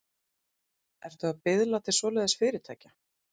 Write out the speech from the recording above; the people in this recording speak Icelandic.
Ertu að biðla til svoleiðis fyrirtækja?